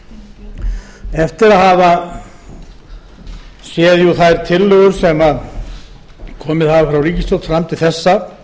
eftir að hafa séð jú þær tillögur sem komið hafa frá ríkisstjórn fram til þessa